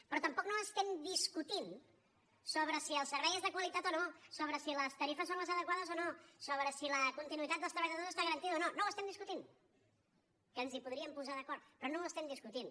però tampoc no estem discutint sobre si el servei és de qualitat o no sobre si les tarifes són les adequades o no sobre si la continuïtat dels treballadors està garantida o no no ho estem discutint que ens hi podríem posar d’acord però no ho estem discutint